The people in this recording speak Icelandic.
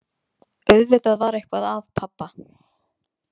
Auðvitað var eitthvað að pabba.